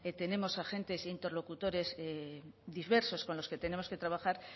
tenemos agentes interlocutores diversos con los que tenemos que trabajar